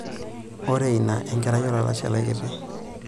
Ore ina enkerai olalashe lai kiti.